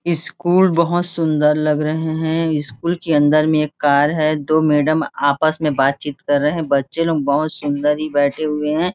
School बहुत सुन्दर लग रहे है स्कूल के अंदर में एक कार है दो मैडम आपस में बाचीत कर रहे है बच्चे लोग बहुत ही सुन्दर ही बैठे हुए है।